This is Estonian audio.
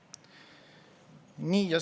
Nii.